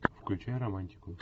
включай романтику